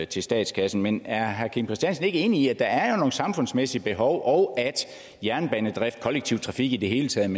til statskassen men er herre kim christiansen ikke enig i at der jo er nogle samfundsmæssige behov og at jernbanedrift og kollektiv trafik i det hele taget